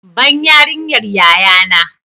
Ban yariyar yaya na!